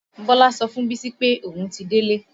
Bọlá sọ fún bísí pé òun ti délé